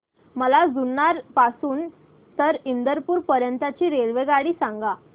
मला जुन्नर पासून तर इंदापूर पर्यंत ची रेल्वेगाडी सांगा